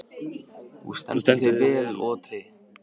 Þú stendur þig vel, Otri!